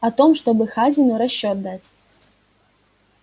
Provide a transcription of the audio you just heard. о том чтобы хазину расчёт дать